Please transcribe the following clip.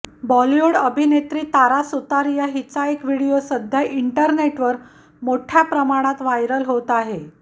बॉलिवूड अभिनेत्री तारा सुतारिया हिचा एक व्हिडिओ सध्या इंटरनेटवर मोठ्या प्रमाणात व्हायरल होत आहे